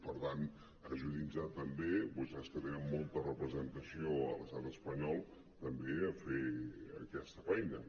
per tant ajudin·nos també vostès que tenen molta re·presentació a l’estat espanyol a fer aquesta feina